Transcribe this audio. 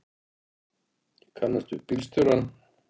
Ég kannast við bílstjórann.